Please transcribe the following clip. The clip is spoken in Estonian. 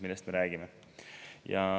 Sellest me räägime.